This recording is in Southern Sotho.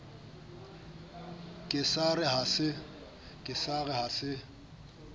ke sa re ha se